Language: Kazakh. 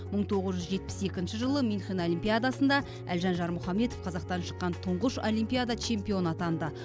мың тоғыз жүз жетпіс екінші жылы мюнхен олимпиадасында әлжан жармұхамедов қазақтан шыққан тұңғыш олимпиада чемпионы атанды